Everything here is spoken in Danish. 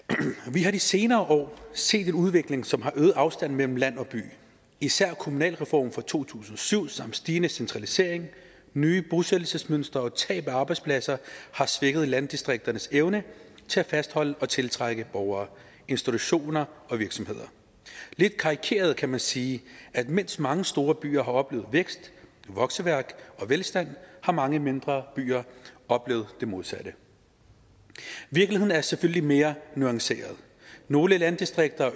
vi har de senere år set en udvikling som har øget afstanden mellem land og by især kommunalreformen fra to tusind og syv samt stigende centralisering nye bosættelsesmønstre og tab af arbejdspladser har svækket landdistrikternes evne til at fastholde og tiltrække borgere institutioner og virksomheder lidt karikeret kan man sige at mens mange storbyer har oplevet vækst vokseværk og velstand har mange mindre byer oplevet det modsatte virkeligheden er selvfølgelig mere nuanceret nogle landdistrikter